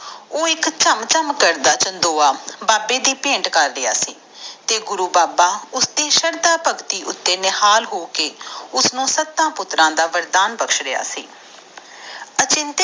ਉਹ ਇਕ ਚਮ ਚਮ ਕਰਦਾ ਚੰਦੋਯ ਬਾਬੇ ਅਗੇ ਭੇਟ ਕਰ ਰਿਹਾ ਸੀ ਤੇ ਬਾਬਾ ਓਹਦੇ ਤੇ ਸ਼ਰਧਾ ਭਗਤੀ ਉਤੇ ਨਿਹਾਲ ਹੋਈ ਕੇ ਉਸਨੂੰ ਸੱਤ ਪੁਤ੍ਰ ਦਾ ਡੰਨ ਬਕਸ਼ ਰਿਹਾ ਸੀ